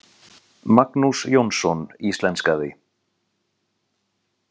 Magnús Jónsson íslenskaði.